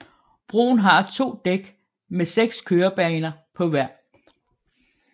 Broen har to dæk med 6 kørebaner på hver